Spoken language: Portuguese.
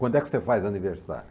Quando é que você faz aniversário?